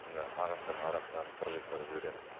мына ағаштардың арасынан прожектор жібереміз